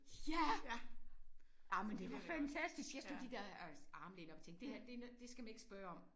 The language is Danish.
Ja! Ej men det var fantastisk. Jeg slog de der øh armlæn op og tænkte det her det er noget det skal man ikke spørge om